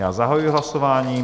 Já zahajuji hlasování.